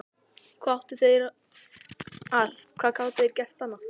Hvað áttu þeir að, hvað gátu þeir gert annað?